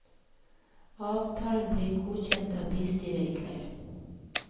Avtalen blir godkjent av bystyret i kveld.